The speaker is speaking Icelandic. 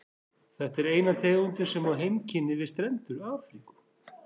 Þetta er eina tegundin sem á heimkynni við strendur Afríku.